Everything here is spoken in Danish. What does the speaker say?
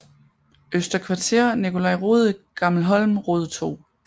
Øster Kvarter Nicolai Rode Gammelholm Rode 2